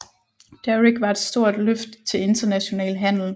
Daric var et stort løft til international handel